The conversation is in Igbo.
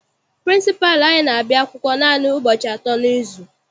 Pịrịnsịpalụ anyị n'abia akwụkwọ naanị ụbọchị atọ n'izu.